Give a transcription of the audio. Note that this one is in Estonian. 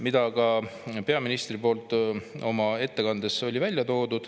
… mille ka peaminister ettekandes välja tõi.